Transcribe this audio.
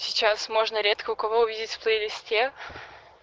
сейчас можно редко у кого увидеть в плейлисте